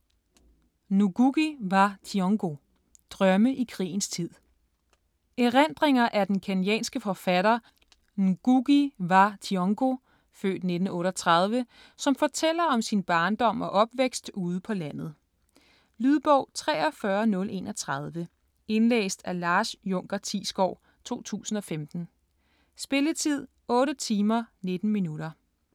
Ngugi wa Thiong'o: Drømme i krigens tid Erindringer af den kenyanske forfattere, Ngugi wa Thiong'o (f. 1938), som fortæller om sin barndom og opvækst ude på landet. Lydbog 43031 Indlæst af Lars Junker Thiesgaard, 2015. Spilletid: 8 timer, 19 minutter.